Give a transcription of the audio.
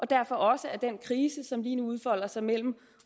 derfor også at den krise som lige nu udfolder sig mellem